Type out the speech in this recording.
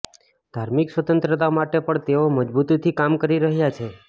ધાર્મિક સ્વતંત્રતા માટે પણ તેઓ મજબૂતીથી કામ કરી રહ્યા છે